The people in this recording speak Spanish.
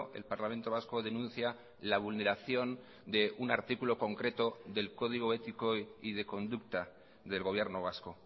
el parlamento vasco denuncia la vulneración de un artículo concreto del código ético y de conducta del gobierno vasco